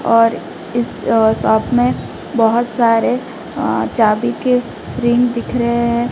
और इस अ शॉप में बहोत सारे अ चाभी के रिंग दिखेरहे हैं।